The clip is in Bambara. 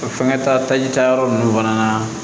Fɛnkɛ ta taji tayɔrɔ ninnu fana na